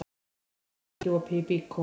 Snót, hvað er lengi opið í Byko?